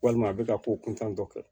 Walima a bɛ ka ko kuntan dɔ kɛ